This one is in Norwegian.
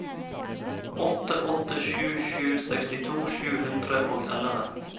åtte åtte sju sju sekstito sju hundre og elleve